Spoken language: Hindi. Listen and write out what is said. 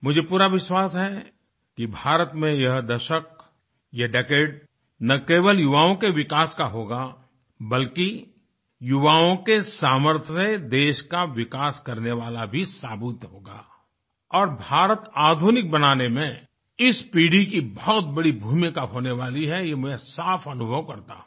मुझे पूरा विश्वास है कि भारत में यह दशक ये decadeन केवल युवाओं के विकास का होगा बल्कि युवाओं के सामर्थ्य से देश का विकास करने वाला भी साबित होगा और भारत आधुनिक बनाने में इस पीढ़ी की बहुत बड़ी भूमिका होने वाली हैये मैं साफ अनुभव करता हूँ